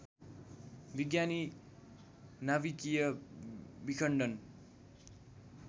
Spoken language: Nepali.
विज्ञानी नाभिकीय विखण्डन